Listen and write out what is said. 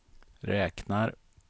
räknar